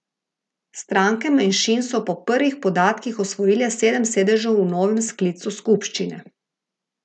Stranke manjšin so po prvih podatkih osvojile sedem sedežev v novem sklicu skupščine.